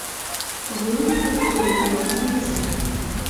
вырубить на другой канал телевизора